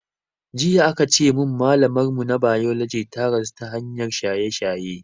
Jiya aka ce mun malamar mu na biology ta rasu ta hanyar shaye shaye